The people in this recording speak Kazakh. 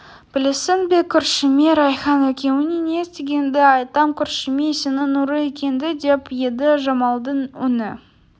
білесің бе көршіме райхан екеуің не істегеніңді айтам көршіме сенің ұры екеніңді деп еді жамалдың үні